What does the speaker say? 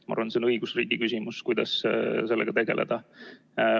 Ma arvan, et see on õigusriigi küsimus, kuidas sellega tegeleda.